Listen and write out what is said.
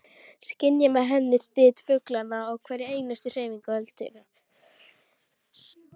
Skynja með henni þyt fuglanna og hverja einustu hreyfingu öldunnar.